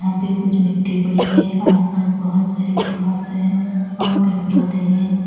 यहाँ पे कुछ मिट्टी पड़ी है। आसपास बोहोत सारी घास है और पेड़ पौधे हैं।